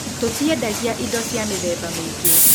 Tũendagia indo cia mĩthemba mĩingĩ